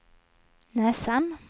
näsan